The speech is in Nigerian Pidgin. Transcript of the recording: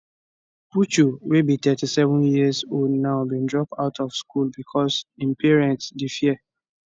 puchu wey be 37 years now bin drop out of school becos im parents dey fear